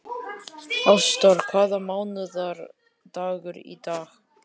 Ásdór, hvaða mánaðardagur er í dag?